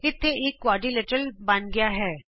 ਇਥੇ ਇਕ ਚਤੁਰਭੁਜ ਬਣ ਗਿਆ ਹੈ